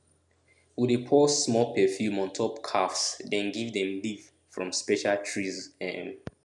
we dey pour small perfume on top calves then give them leave from special trees um